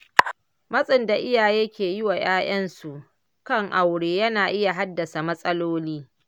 Matsin da iyaye ke yi wa ‘ya’yansu kan aure yana iya haddasa matsaloli.